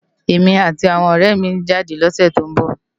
Emi áti áwòn òrè mi n jádè lòsè tó n bò